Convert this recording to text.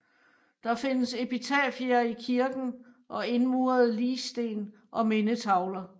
Der findes epitafier i kirken og indmurede ligsten og mindetavler